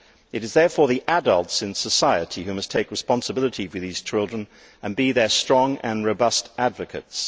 It is therefore the adults in society who must take responsibility for these children and be their strong and robust advocates.